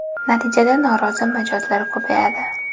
Natijada norozi mijozlar ko‘payadi.